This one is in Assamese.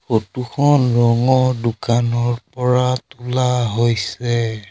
ফটো খন ৰঙৰ দোকানৰ পৰা তোলা হৈছে।